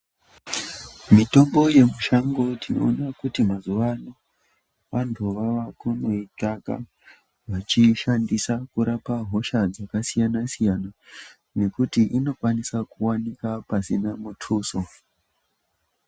Mitombo yemushango tinoona kuti mazuano vantu vava kunoitsvaka vachishandisa kurapa hosha dzakasiyana siyana nekuti unokwanisa kuwanikwa pasina mutuso.